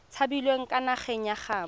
tshabileng kwa nageng ya gaabo